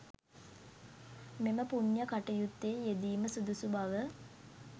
මෙම පූණ්‍ය කටයුත්තේ යෙදීම සුදුසු බව